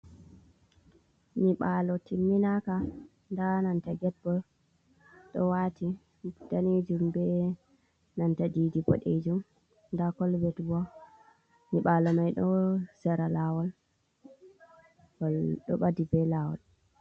Nyiɓaalo timminaka ndaa nanta get bo ɗo waati daneejum be nanta didi boɗeejum ndaa kolvet bo nyiɓaalo may ɗo sera laawol, ngol ɗo ɓadi be laawol.